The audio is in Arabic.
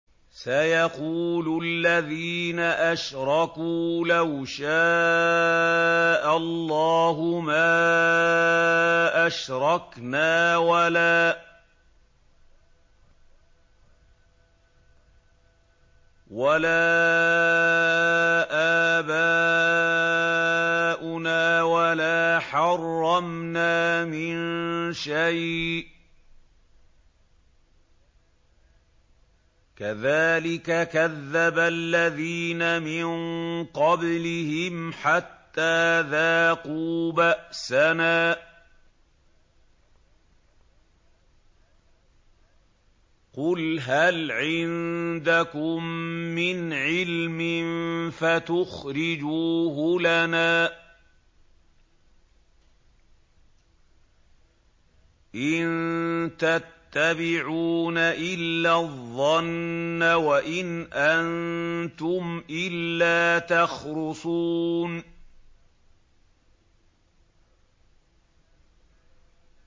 سَيَقُولُ الَّذِينَ أَشْرَكُوا لَوْ شَاءَ اللَّهُ مَا أَشْرَكْنَا وَلَا آبَاؤُنَا وَلَا حَرَّمْنَا مِن شَيْءٍ ۚ كَذَٰلِكَ كَذَّبَ الَّذِينَ مِن قَبْلِهِمْ حَتَّىٰ ذَاقُوا بَأْسَنَا ۗ قُلْ هَلْ عِندَكُم مِّنْ عِلْمٍ فَتُخْرِجُوهُ لَنَا ۖ إِن تَتَّبِعُونَ إِلَّا الظَّنَّ وَإِنْ أَنتُمْ إِلَّا تَخْرُصُونَ